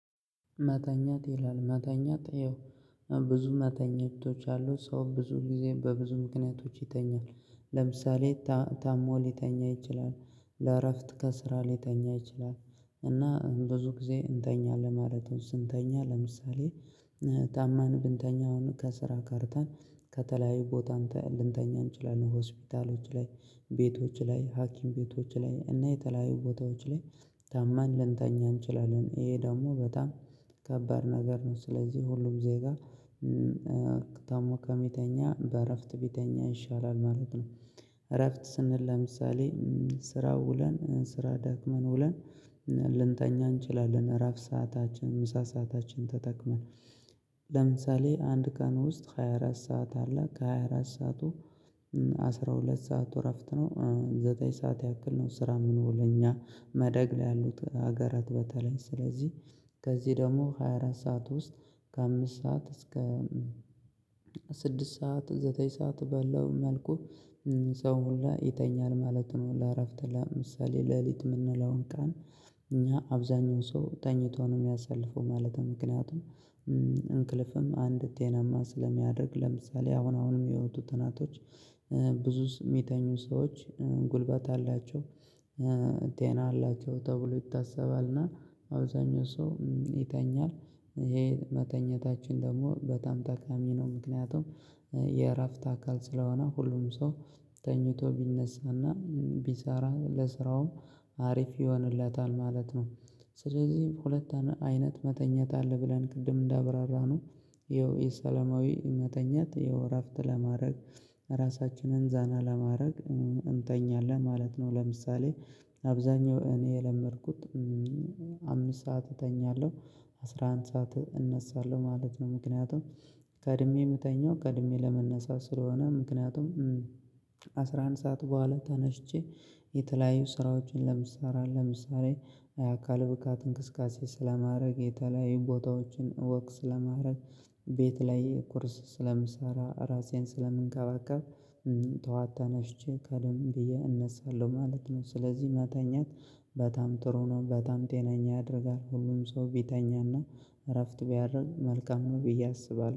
መተኛት ይላል መተኛት ያው ብዙ መተኛቶዎች አሉ። ሰው ብዙ ጊዜ በብዙ ምክንያቶች ይተኛል። ለምሳሌ ታሞ ሊተኛ ይችላል። ለእረፍት ከስራ ሊተኛ ይችላል። እና ብዙ ጊዜ እንተኛለን ማለት ነው። ስንተኛ ለምሳሌ ታመን ብንተኛ አሁን ከስራ ቀርተን ከተለያዩ ቦታ አንተ ልንተኛ እንችላለን ሆስፒታሎች ላይ ቤቶች ላይ፣ ሀኪም ቤቶች ላይ እና የተለያዩ ቦታዎች ላይ ታማን ልንተኛ እንችላለን። ይሄ ደግሞ በጣም ከባድ ነገር ነው። ስለዚህ ሁሉም ዜጋ ታሞ ከሚተኛ በእረፍት ቢተኛ ይሻላል ማለት ነው። እረፍት ስንል ለምሳሌ ስራ ውለን ስራ ደክመን ውለን ልንተኛ እንችላለን። እረፍት ሰአታችንን ምሳ ሰአታችንን ተጠቅመን። ለምሳሌ አንድ ቀን ውስጥ ሃያ አራት ሰዓት አለ። ከሃያ አራት ሰዓቱ አስራ ሁለት ሰዓት እረፍት ነው። ዘጠኝ ሰዓት ያክል ነው ስራ የምንውል እኛ ማደግ ላይ ያሉት ሀገራት በተለይ። ስለዚህ ከዚህ ደግሞ ሃያ አራት ሰዓት ውስጥ ከአምስት ሰዓት እስከ ስድስት ሰዓት ዘጠኝ ሰዓት ባለው መልኩ ሰው ሁላ ይተኛል ማለት ነው። ለእረፍት ለምሳሌ ሌሊት የምንለውን ቀን እኛ አብዛኛው ሰው ተኝቶ ነው የሚያሳልፈው ማለት ነው። ምክንያቱም እንቅልፍም አንድ ጤናማ ስለሚያደርግ። ለምሳሌ አሁን አሁን የሚወጡ ጥናቶች ብዙ የሚተኙ ሰዎች ጉልበት አላቸው። ጤና አላቸው። አላቸው ይታሰባል እና አብዛኛው ሰው ይተኛል። ይሄ መተኛታችን ደግሞ በጣም ጠቃሚ ነው። ምክንያቱም የእረፍት አካል ስለሆነ ሁሉም ሰው ተኝቶ ቢነሳና ቢሰራ ለስራውም አሪፍ ይሆንለታል ማለት ነው። ስለዚህ ሁለት አይነት መተኛት አለ ብለን ቅድም እንዳብራራነው ይኸው የሰለማዊ መተኛት ይኸው እረፍት ለማድረግ፣ ራሳችንን ዘና ለማድረግ እንተኛለን ማለት ነው። ለምሳሌ አብዛኛው እኔ የለመድኩት አምስት ሰዓት እተኛለሁ አስራ አንድ ሰዓት እነሳለሁ ማለት ነው። ምክንያቱም ቀድሜ የምተኛው ቀድሜ ለመነሳት ስለሆነ ምክንያቱም አስራ አንድ ሰዓት በኋላ ተነስቼ የተለያዩ ስራዎችን እሰራለሁ። ለምሳሌ ለምሳሌ አካለ ብቃት እንቅስቃሴ ስለማደርግ፣ የተለያዩ ቦታዎችን 'ወክ' ስለማደርግ ቤት ላይ ቁርስ ስለምሰራ ራሴን ስለምንከባከብ ጠዋት ተነስቼ ቀደም ብዬ እነሳለሁ ማለት ነው። ስለዚህ መተኛት በጣም ጥሩ ነው። በጣም ጤናኛ ያደርጋል ሁሉም ሰው ቢተኛ እና እረፍት ቢያደርግ መልካም ነው ብዬ አስባለሁ።